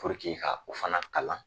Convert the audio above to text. ka o fana kalan